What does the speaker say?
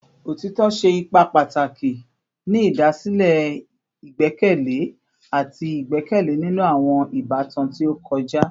Otitọ ṣe ipa pataki ni idasile igbẹkẹle ati igbẹkẹle ninu awọn ibatan ti o kọja